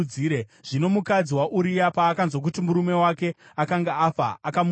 Zvino mukadzi waUria paakanzwa kuti murume wake akanga afa, akamuchema.